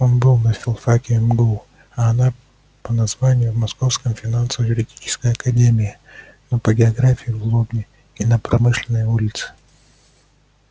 он был на филфаке мгу а она по названию в московской финансово-юридической академии но по географии в лобне и на промышленной улице